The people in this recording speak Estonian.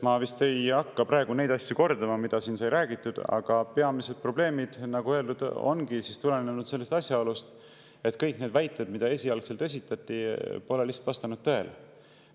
Ma ei hakka praegu neid asju kordama, mida siin sai räägitud, aga peamised probleemid, nagu öeldud, tulenesid asjaolust, et kõik need väited, mida esialgselt esitati, lihtsalt ei vastanud tõele.